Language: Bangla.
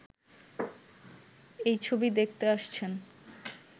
এই ছবি দেখতে আসছেন